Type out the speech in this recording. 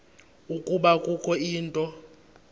ukuba kukho into